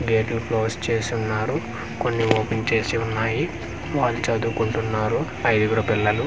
గేట్లు క్లోజ్ చేసి ఉన్నారు కొన్ని ఓపెన్ చేసి ఉన్నాయి వాళ్ళు చదువు కుంటున్నారు ఐదుగురు పిల్లలు .